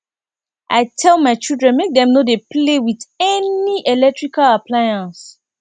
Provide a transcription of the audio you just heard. i tell my children make dem no dey play with any electrical appliance